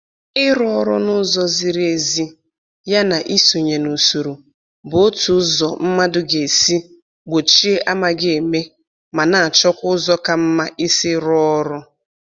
Ịrụ ọrụ n'ụzọ ziri ezi ya na isonye n'usoro bụ otu ụzọ mmadụ ga-esi gbochie amaghị eme, ma na-achọkwa ụzọ ka mma isi rụọ ọrụ